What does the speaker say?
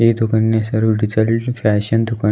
ಈ ದುಖಾನ್ನ ಹೆಸರು ಡಿಚಡಿಲ್ ಫ್ಯಾಶನ್ ದುಖಾನ್.